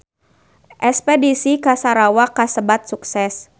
Espedisi ka Sarawak kasebat sukses